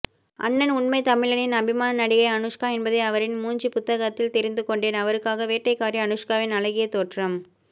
அண்ணன் உண்மைத்தமிழனின் அபிமான நடிகை அனுஷ்கா என்பதை அவரின் மூஞ்சிப்புத்தகத்தில் தெரிந்துகொண்டேன் அவருக்காக வேட்டைக்காரி அனுஷ்காவின் அழகிய தோற்றம்